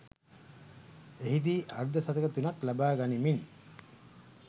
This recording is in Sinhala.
එහිදී අර්ධ ශතක තුනක් ලබා ගනිමින්